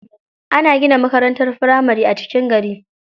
Ana gina makarantar firamari a cikin gari.